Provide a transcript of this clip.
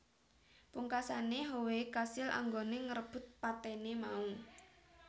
Pungkasae Howe kasil anggone ngrebut patene mau